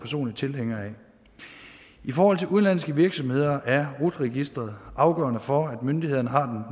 tilhænger af i forhold til udenlandske virksomheder er rut registeret afgørende for at myndighederne har